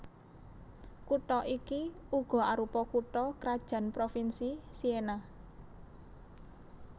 Kutha iki uga arupa kutha krajan provinsi Siena